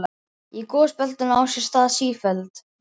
Í gosbeltunum á sér stað sífelld